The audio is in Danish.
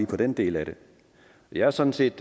den del af det jeg er sådan set